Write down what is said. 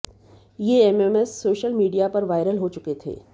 ये MMS social media पर viral हो चुके थे